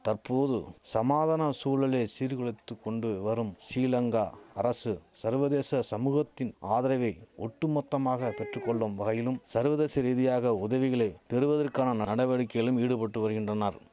தற்போது சமாதன சூழலை சீர்குலைத்து கொண்டு வரும் சிலங்கா அரசு சர்வதேச சமூகத்தின் ஆதரகை ஒட்டுமொத்தமாக பெற்று கொள்ளும் வகையிலும் சர்வதேச ரீதியாக உதவிகளை பெறுவதற்கான நடவடிக்கையிலும் ஈடுபட்டு வருகின்றனர்